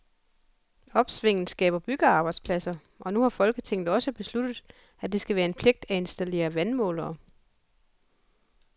Opsvinget skaber byggearbejdspladser, og nu har folketinget også besluttet, at det skal være en pligt at installere vandmålere.